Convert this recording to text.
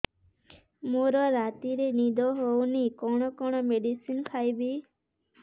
ମୋର ରାତିରେ ନିଦ ହଉନି କଣ କଣ ମେଡିସିନ ଖାଇବି